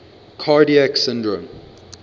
cardiac syndrome